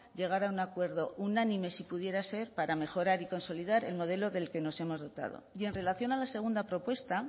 llegar a un acuerdo unánime si pudiera ser para mejorar y consolidar el modelo del que nos hemos dotado y en relación a la segunda propuesta